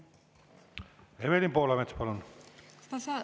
Evelin Poolamets, palun!